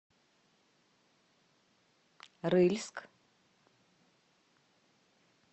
рыльск